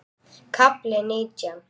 KAFLI NÍTJÁN